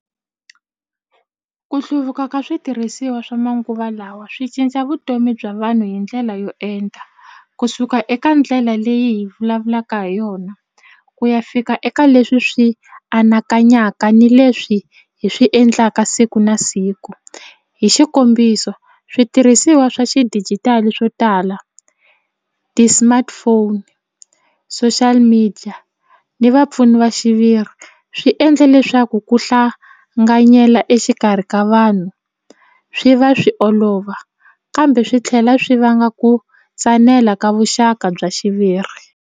Ku hluvuka ka switirhisiwa swa manguva lawa swi cinca vutomi bya vanhu hi ndlela yo enta kusuka eka ndlela leyi hi vulavulaka ha yona ku ya fika eka leswi swi anakanyaka ni leswi hi swi endlaka siku na siku hi xikombiso switirhisiwa swa xidijitali swo tala ti-smartphone social media ni vapfuni va xiviri swi endle leswaku ku hlanganyela exikarhi ka vanhu swi va swi olova kambe swi tlhela swi vanga ku tsanela ka vuxaka bya xiviri.